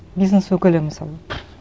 бизнес өкілі мысалы